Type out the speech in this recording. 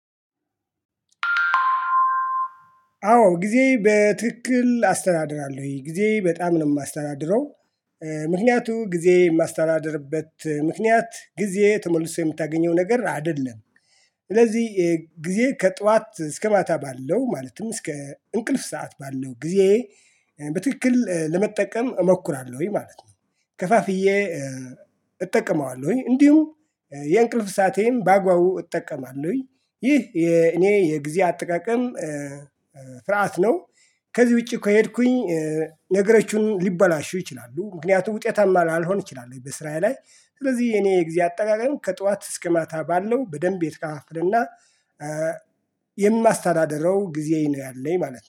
አዎ ጊዜ በትክክል አስተዳድራለሁኝ ጊዜ በጣም ነው የማስተዳድረው ምክንያቱ ጊዜ የማስተዳድርበት ምክንያት ጊዜ ተመልሶ የምታገኘው ነገር አይደለም። ስለዚህ የጊዜ ከጧት እስከ ማታ ባለው ማለትም እስከ እንቅልፍ ሰዓት ባለው ጊዜ በትክክል ለመጠቀም እሞክራለሁኝ ማለት ነው። ከፋፍዬ። እጠቀመዋለሁኝ እንዲሁም የእንቅልፍ ሳአቴን በአግባቡ እጠቀማለሁኝ። ይህ የእኔ የጊዜ አጠቃቀም ስርዓት ነው። ከዚህ ውጪ ከሄድኩኝ ነገሮችን ሊበላሹ ይችላሉ ምክንያቱም ውጤታማ ላልሆን ይችላሉ። በስራዬ ላይ ስለዚህ የኔ ጊዜ አጠቃቀም ከጧት እስከ ማታ ባለው በደንብ የተከፋፈለና የማስተዳደረው ጊዜ ነው ያለኝ ማለት ነው